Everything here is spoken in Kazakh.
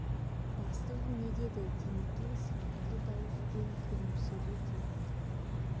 бастығың не дейді димекең сабырлы дауыспен күлімсірей тіл қатып